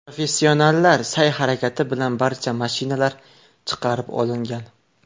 Professionallar sa’y-harakati bilan barcha mashinalar chiqarib olingan.